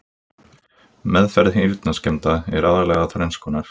Meðferð heyrnarskemmda er aðallega þrenns konar